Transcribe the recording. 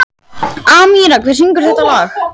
Amíra, hver syngur þetta lag?